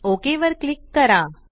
okay वर click करा